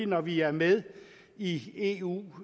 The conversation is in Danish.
når vi er med i eu